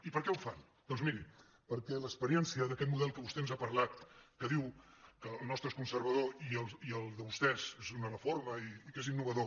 i per què ho fan doncs miri perquè l’experiència d’aquest model que vostè ens ha parlat que diu que el nostre és conservador i el de vostès és una reforma i que és innovador